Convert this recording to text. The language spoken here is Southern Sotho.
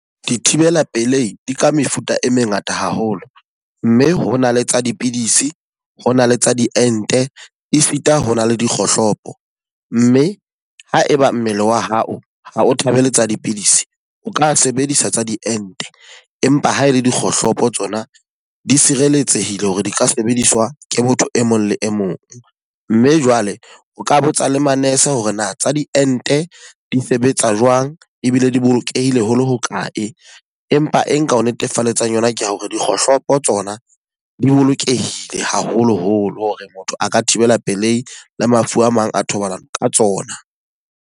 Dithibela pelei di ka mefuta e mengata haholo. Mme hona le tsa dipidisi, ho na le tsa diente, esita ho na le dikgohlopo. Mme ha e ba mmele wa hao ha o thobeletsa dipidisi, o ka sebedisa tsa diente. Empa ha e le dikgohlopo tsona di sireletsehile hore di ka sebediswa ke motho e mong le e mong. Mme jwale o ka botsa le ma-nurse hore na tsa diente di sebetsa jwang ebile di bolokehile ho le hokae. Empa e nka ho netefalletsa yona ke hore dikgohlopo tsona di bolokehile haholoholo hore motho a ka thibela pelehi le mafu a mang a thobalano ka tsona.